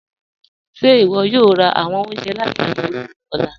Ṣe iwọ yòò rá awọn ọ̀unjẹ̀ lati Akure ni ọlà?